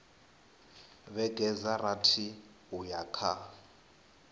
vhege dza rathi uya kha